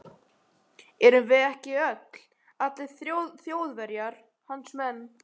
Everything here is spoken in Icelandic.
Erum við ekki öll, allir Þjóðverjar, hans menn.